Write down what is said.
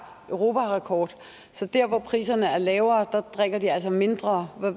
europarekord så dér hvor priserne er lavere drikker de altså mindre